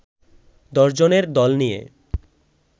দশজনের দল নিয়ে